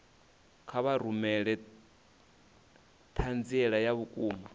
kha vha rumele ṱhanziela ya vhukuma